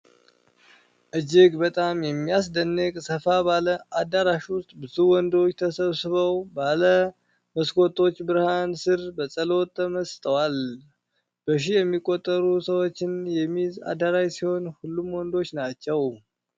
እጅግ በጣም የሚያስደንቅ! ሰፋ ባለ አዳራሽ ውስጥ፣ ብዙ ወንዶች ተሰብስበው ባለ መስኮቶች ብርሃን ስር በጸሎት ተመስጠዋል። በሺ የሚቆጠሩ ሰዎችን የሚይዝ አዳራሽ ሲሆን ሁሉም ወንዶች ናቸው።